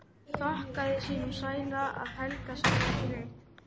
Þakkaði sínum sæla að Helga sagði ekki neitt.